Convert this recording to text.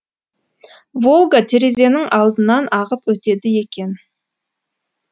волга терезенің алдынан ағып өтеді екен